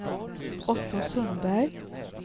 Otto Sundberg